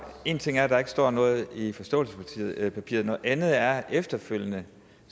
en ting er at der ikke står noget i forståelsespapiret noget andet er at vi efterfølgende